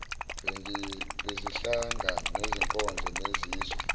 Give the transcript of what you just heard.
bezinhlanga bezinkolo nezizwe